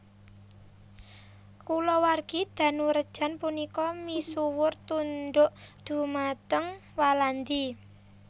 Kulawargi Danurejan punika misuwur tundhuk dhumateng Walandi